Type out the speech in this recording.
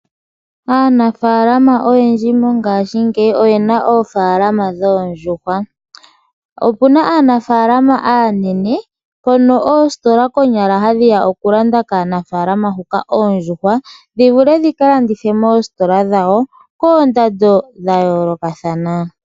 Aanafalama oyendji mongashingeyi oyena oofalama dhoondjuhwa. Okuna aanafalama aanene hono oositola konyala hadhiya oku landa kaanafalama huka oondjuhwa dhi vule dhika landithe moositola dhawo koondando dha yoolokathana.